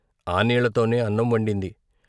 " ఆ నీళ్ళతోనే అన్నం వండింది.